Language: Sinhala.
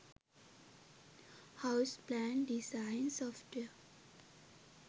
house plan design software